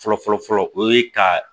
Fɔlɔ fɔlɔ fɔlɔ o ye ka